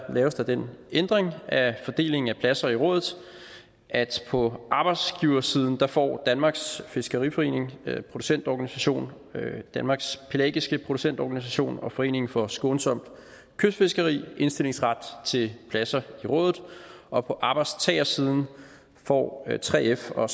laves der den ændring af fordelingen af pladser i rådet at på arbejdsgiversiden får danmarks fiskeriforening producentorganisation danmarks pelagiske producentorganisation og foreningen for skånsomt kystfiskeri indstillingsret til pladser i rådet og på arbejdstagersiden får 3f og